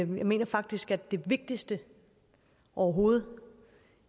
mener faktisk at det vigtigste overhovedet